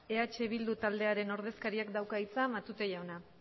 eh bildu talderen ordezkariak dauka hitza matute jaunak